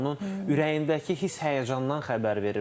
Onun ürəyindəki hiss-həyəcandan xəbər verir.